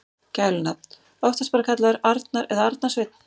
Gælunafn: Oftast bara kallaður Arnar eða Arnar Sveinn.